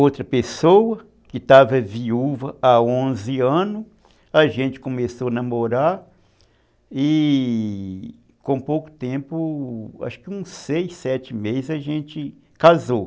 Outra pessoa que estava viúva há onze anos, a gente começou a namorar e com pouco tempo, acho que uns seis, sete meses a gente casou.